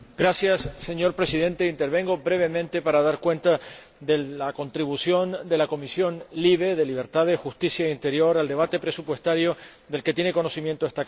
Señor Presidente, intervengo brevemente para dar cuenta de la contribución de la Comisión de Libertades Civiles, Justicia y Asuntos de Interior al debate presupuestario del que tiene conocimiento esta Cámara.